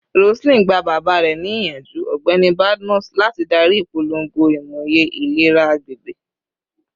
Roseline, gba baba rẹ ni iyanju, Ọgbẹni Badmus, lati dari ipolongo imoye ilera agbegbe